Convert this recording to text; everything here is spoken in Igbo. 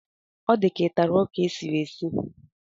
Ọ di ka ị tara ọka e siri esi?